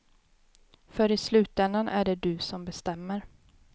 För i slutändan är det du som bestämmer.